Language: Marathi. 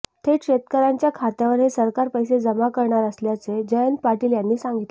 थेट शेतकऱ्यांच्या खात्यावर हे सरकार पैसे जमा करणार असल्याचे जयंत पाटील यांनी सांगितले